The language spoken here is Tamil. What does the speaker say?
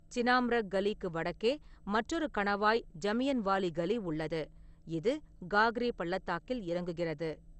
சினாம்ரக் காலிக்கு வடக்கே மற்றொரு கணவாய் ஜமியன்வாலி கலி உள்ளது, இது காக்ரி பள்ளத்தாக்கில் இறங்குகிறது.